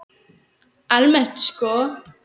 Almennt sko?